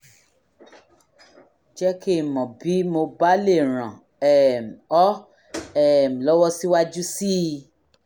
jẹ́ kí n mọ̀ bí mo bá lè ràn um ọ́ um lọ́wọ́ síwájú sí i